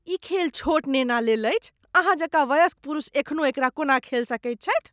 ई खेल छोट नेना लेल अछि। अहाँ जकाँ वयस्क पुरुष एखनो एकरा कोना खेल सकैत छथि?